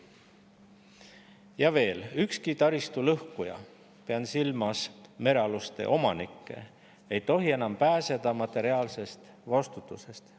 Ja veel, ükski taristu lõhkuja, pean silmas merealuste omanikke, ei tohi enam pääseda materiaalsest vastutusest.